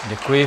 Děkuji.